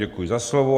Děkuji za slovo.